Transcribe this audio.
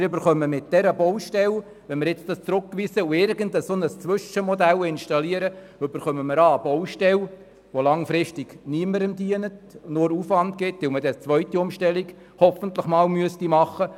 Wenn wir das Geschäft nun zurückweisen und ein Zwischenmodell installieren, entsteht eine Baustelle, welche langfristig niemandem dient und nur Aufwand generiert, da eine zweite Umstellung hoffentlich sowieso einmal gemacht werden müsste.